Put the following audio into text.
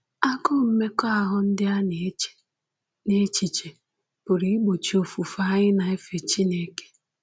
Agụụ mmekọahụ ndị a na-eche n’echiche pụrụ igbochi ofufe anyị na-efe Chineke.